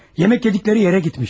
Yemək yediyi yerə getmiş.